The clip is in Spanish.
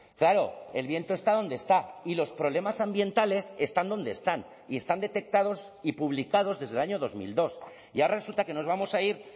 claro el viento está donde está y los problemas ambientales están donde están y están detectados y publicados desde el año dos mil dos y ahora resulta que nos vamos a ir